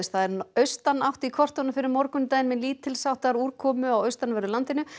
það er austanátt í kortunum fyrir morgundaginn með lítils háttar úrkomu á austanverðu landinu